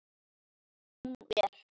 Hún er